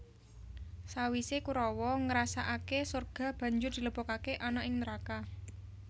Sawise Kurawa ngrasakake sorga banjur dilebokake ana ing neraka